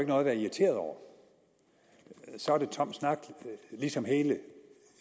noget at være irriteret over så er det tom snak ligesom hele